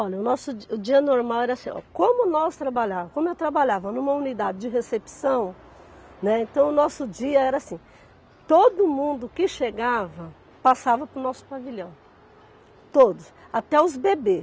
Olha, o nosso di o dia normal era assim, ó, como nós trabalhávamos, como eu trabalhava numa unidade de recepção, né, então o nosso dia era assim, todo mundo que chegava passava para o nosso pavilhão, todos, até os bebês.